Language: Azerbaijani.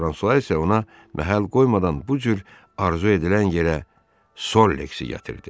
Fransua isə ona məhəl qoymadan bu cür arzu edilən yerə Sollexi gətirdi.